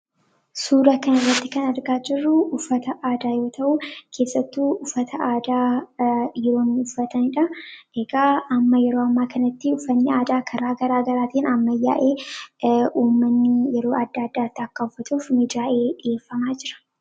Suura kana irratti kan argaa jirruu uffata aadaa yoo ta'uu, keessattuu uffata aadaa yeroon uffataniidha. Egaa yeroo ammaa kanatti uffanni aadaa karaa garaa garaatiin amma baay'ee uumamanii yeroo adda adda akka uffatuuf miidhag'ee dhiyeeffamaa jira.